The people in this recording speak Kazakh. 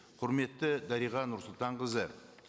құрметті дариға нұрсұлтанқызы